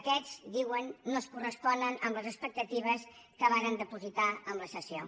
aquests diuen no es corresponen amb les expectatives que varen dipositar en la sessió